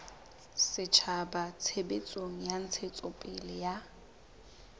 setjhaba tshebetsong ya ntshetsopele ya